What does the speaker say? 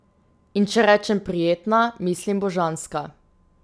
In če rečem prijetna, mislim božanska.